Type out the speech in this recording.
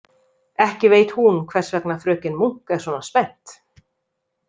Ekki veit hún hvers vegna fröken Munk er svona spennt.